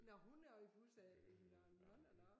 Nåh hun har også pusser nåh nåh nåh nåh